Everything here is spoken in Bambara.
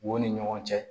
U ni ɲɔgɔn cɛ